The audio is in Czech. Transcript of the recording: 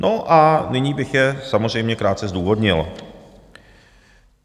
No a nyní bych je samozřejmě krátce zdůvodnil.